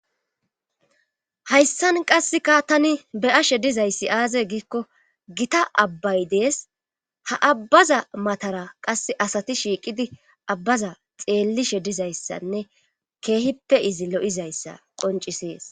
Hayssan qassika tani be7ashe dizayssi aaze giikko gita abbay dees ha abbaza matara qassi asati shiiqidi abbaza xeellishe dizayssanne keehippe izi lo7izayssa qonccises.